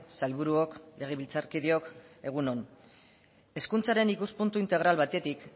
sailburuok legebiltzarkideok egun on hezkuntzaren ikuspuntu integral batetik